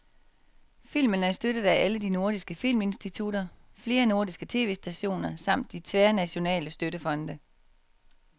Filmen er støttet af alle de nordiske filminstitutter, flere nordiske tv-stationer samt de tværnationale støttefonde.